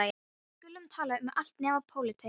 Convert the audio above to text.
Við skulum tala um allt nema pólitík.